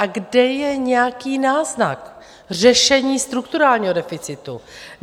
A kde je nějaký náznak řešení strukturální deficitu?